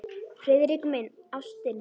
Friðrik minn, ástin.